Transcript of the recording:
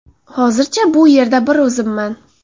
Hozircha bu yerda bir o‘zimman.